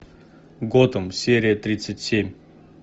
готэм серия тридцать семь